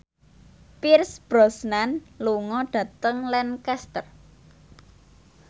Pierce Brosnan lunga dhateng Lancaster